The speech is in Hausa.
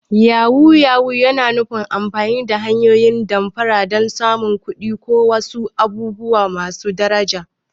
Yahu-yahu yana nufin amfani da hanyoyin damfara don samun kuɗi ko wasu abubuwa masu daraja.